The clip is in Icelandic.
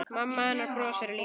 Mamma hennar brosir líka.